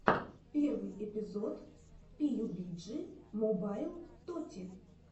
первый эпизод пиюбиджи мобайл тоти